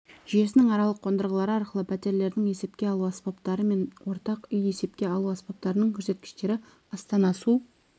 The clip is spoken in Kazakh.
жүйесінің аралық қондырғылары арқылы пәтерлердің есепке алу аспаптары мен ортақ үй есепке алу аспаптарының көрсеткіштері астана су